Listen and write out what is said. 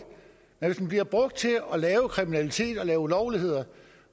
men den bliver brugt til at lave kriminalitet og ulovligheder